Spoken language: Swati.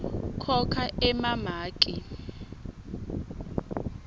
khokha emamaki